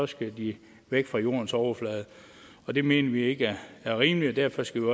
skal de væk fra jordens overflade og det mener vi ikke er rimeligt og derfor skal